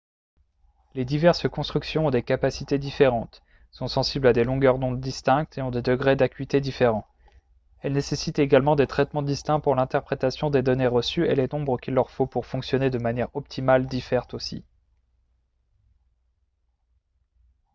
les diverses constructions ont des capacités différentes sont sensibles à des longueurs d'onde distinctes et ont des degrés d'acuité différents elles nécessitent également des traitements distincts pour l'interprétation des données reçues et les nombres qu'il leur faut pour fonctionner de manière optimale diffèrent aussi